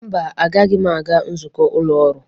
Mba, agaghị m aga nzukọ ụlọ ọrụ.